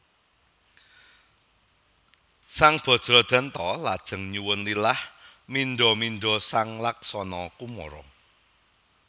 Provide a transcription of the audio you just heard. Sang Bajradanta lajeng nyuwun lilah mindha mindha sang Laksana Kumara